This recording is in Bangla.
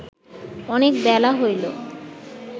অনেক বেলা হইল